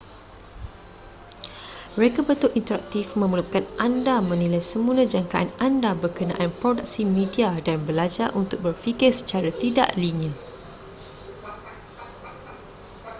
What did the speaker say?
reka bentuk interaktif memerlukan anda menilai semula jangkaan anda berkenaan produksi media dan belajar untuk berfikir secara tidak linear